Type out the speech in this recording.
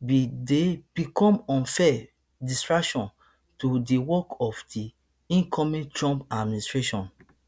bin dey become unfair distraction to di work of di incoming trump administration